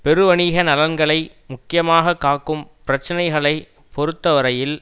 பெருவணிக நலன்களை முக்கியமாக காக்கும் பிரச்சினைகளை பொறுத்த வரையில்